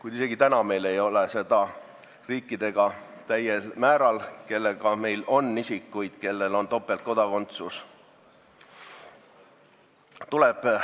Praegu ei ole meil neid täiel määral isegi nende riikidega, kellega seotult meil on topeltkodakondsusega isikuid.